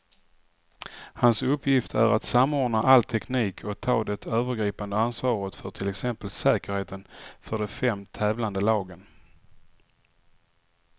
Hans uppgift är att samordna all teknik och ta det övergripande ansvaret för till exempel säkerheten för de fem tävlande lagen.